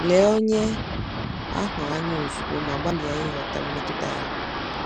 Lee onye ahụ anya ozugbo ma gbalịa ịghọta mmetụta ya.